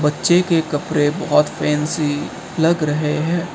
बच्चे के कपड़े बहोत फैंसी लग रहे हैं।